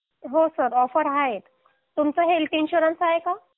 हो sir offer आहे तुमचं हेल्प इन्शुरन्स आहे का